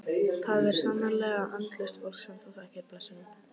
Það er sannarlega andlaust fólk sem hún þekkir blessunin.